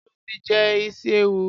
Ṣé o ti jẹ isi ewu?